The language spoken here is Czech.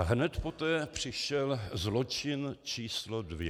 A hned poté přišel zločin číslo dvě.